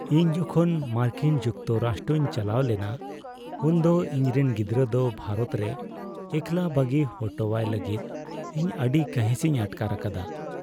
ᱤᱧ ᱡᱚᱠᱷᱚᱱ ᱢᱟᱨᱠᱤᱱ ᱡᱩᱠᱛᱚᱨᱟᱥᱴᱚᱧ ᱪᱟᱞᱟᱣ ᱞᱮᱱᱟ, ᱩᱱᱫᱚ ᱤᱧᱨᱮᱱ ᱜᱤᱫᱽᱨᱟᱹ ᱫᱚ ᱵᱷᱟᱨᱚᱛ ᱨᱮ ᱮᱠᱞᱟ ᱵᱟᱹᱜᱤ ᱦᱚᱴᱚᱣᱟᱭ ᱞᱟᱹᱜᱤᱫ ᱤᱧ ᱟᱹᱰᱤ ᱠᱟᱹᱦᱤᱥᱤᱧ ᱟᱴᱠᱟᱨ ᱟᱠᱟᱫᱟ ᱾